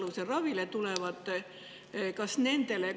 Kas nendele laieneb see ka?